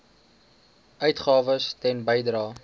uitgawes ten bedrae